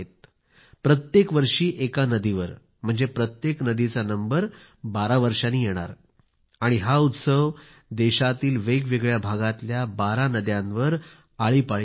प्रत्येक वर्षी एका नदीवर म्हणजे प्रत्येक नदी चा नंबर बारा वर्षांनी येणार आणि हा उत्सव देशातील वेगवेगळ्या भागातील बारा नद्यांवर पाळीपाळीने होणार